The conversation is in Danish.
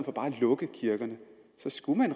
lukke kirkerne